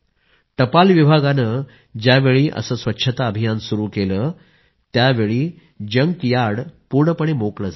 टपाल विभागानं ज्यावेळी असं स्वच्छता अभियान सुरू केलं त्यावेळी जंकयार्ड पूर्णपणे मोकळं झालं